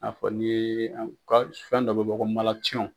I n'a fɔ ni an fɛn dɔ bɛ bɔ ko